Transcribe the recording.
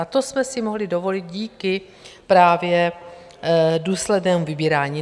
A to jsme si mohli dovolit díky právě důslednému vybírání.